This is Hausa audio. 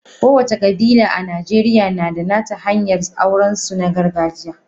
Kowace kabila a Najeriya na da nata hanyar aurensu na gargajiya.